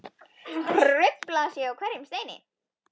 Hrufla sig á hverjum steini.